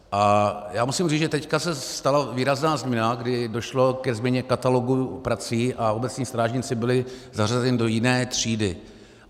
A já musím říct, že teď se stala výrazná změna, kdy došlo ke změně katalogů prací a obecní strážníci byli zařazeni do jiné třídy.